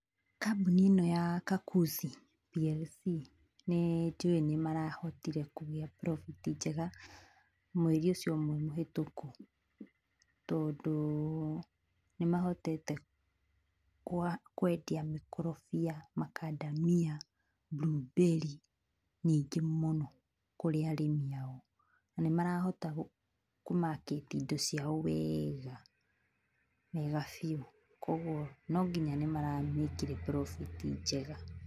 Kambũni ĩno ya Kakuzi PLC nĩ njũũĩ nĩmarahotire kũgĩa profit njega mweri ũcio mũhĩtũku tondũ nĩmahotete kwendia makorofia, macadamia ndumberi nyingĩ mũno kũrĩ arĩmi ao. Nĩmarahota kũ market indo ciao wega, wega biũ, koguo nonginya nĩmaramĩkire profit njega